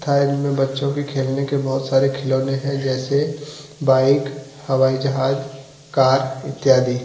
Side में बच्चों के खेलने के बहुत सारे खिलौने हैं जैसे बाइक हवाई जहाज कार इत्यादि।